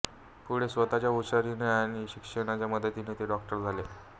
पुढे स्वतःच्या हुशारीने आणि शिक्षकांच्या मदतीने ते डॉक्टर झाले